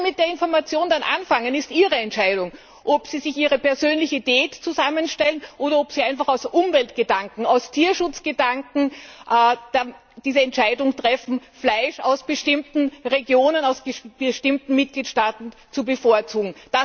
Was sie mit der Information dann anfangen, ist ihre Entscheidung ob sie sich ihre persönliche Diät zusammenstellen oder ob sie einfach aus Umweltgedanken, aus Tierschutzgedanken die Entscheidung treffen, Fleisch aus bestimmten Regionen, aus bestimmten Mitgliedstaaten zu bevorzugen.